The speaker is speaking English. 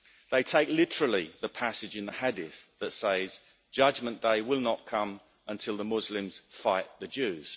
They take literally the passage in the Hadith that says Judgement day will not come until the Muslims fight the Jews'.